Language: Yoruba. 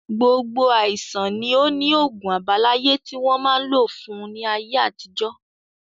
Gbogbo àìsàn ni ó ni ogún àbáláyé tí wọn máa ń lò fún ní ayé àtijọ́